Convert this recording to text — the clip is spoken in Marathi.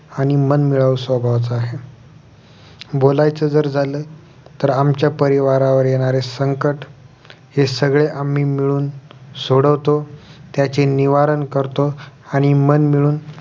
आणि मनमिळावू स्वभावाचा आहे बोलायचं जर झालं तर आमच्या परिवारावर येणारे संकट हे सगळे आम्ही मिळून सोडवतो त्याचे निवारण करतो आणि मनमिळून